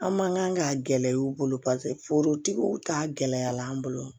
An man kan k'a gɛlɛya u bolo paseke forotigiw ta gɛlɛya la an bolo